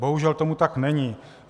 Bohužel tomu tak není.